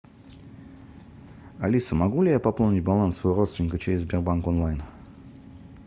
алиса могу ли я пополнить баланс своего родственника через сбербанк онлайн